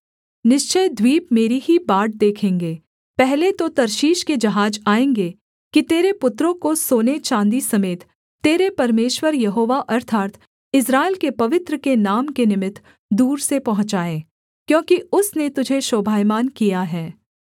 निश्चय द्वीप मेरी ही बाट देखेंगे पहले तो तर्शीश के जहाज आएँगे कि तेरे पुत्रों को सोने चाँदी समेत तेरे परमेश्वर यहोवा अर्थात् इस्राएल के पवित्र के नाम के निमित्त दूर से पहुँचाए क्योंकि उसने तुझे शोभायमान किया है